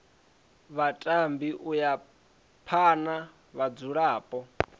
vhatambi u ya phana vhadzulapo